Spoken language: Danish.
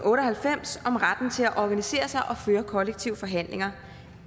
og halvfems om retten til at organisere sig og føre kollektive forhandlinger